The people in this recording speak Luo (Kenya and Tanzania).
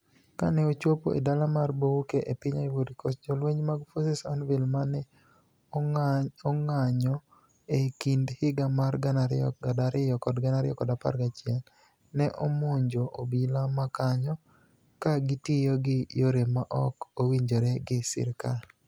Kani e ochopo e dala mar Bouake e piniy Ivory Coast, jolweniy mag Forces nouvelles ma ni e onig'anijo e kinid higa mar 2002 kod 2011 ni e omonijo obila ma kaniyo, ka gitiyo gi yore ma ok owinijore gi sirkal.